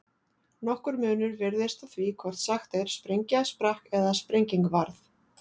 Nokkur munur virðist á því hvort sagt er sprengja sprakk eða sprenging varð.